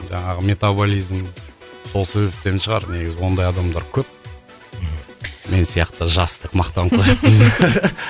жаңағы метоболизм сол себептен шығар негізі ондай адамдар көп мен сияқты жас деп мақтанып қояды дейді